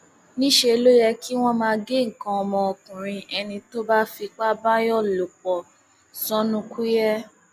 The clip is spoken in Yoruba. níṣẹ ló yẹ kí wọn máa gé nǹkan ọmọkùnrin ẹni tó bá fipá báàyàn lò pọ sọnùkuye